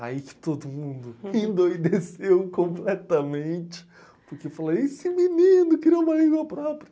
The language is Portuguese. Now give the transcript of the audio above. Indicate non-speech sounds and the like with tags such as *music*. Aí que todo mundo endoideceu completamente *laughs* porque falou, esse menino criou uma língua própria.